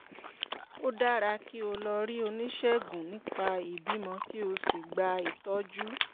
ó dára kí o lọ rí oníṣègùn nípa ìbímọ kí o sì gba ìtọ́jú